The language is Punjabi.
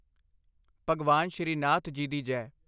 ਭਗਵਾਨ ਸ਼੍ਰੀ ਨਾਥ ਜੀ ਦੀ ਜੈ!